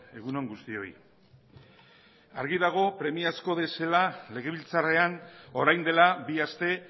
egun on guztioi argi dago premiazkoa bezala legebiltzarrean orain dela bi aste